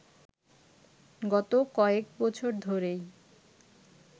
গত কয়েক বছর ধরেই